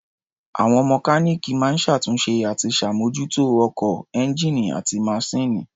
Àwọn mọkáníìkì máa ń ṣàtúnṣe àti ṣàbmójútó ọkọ̀, ẹ́ńgíìnì àti maṣíìnì.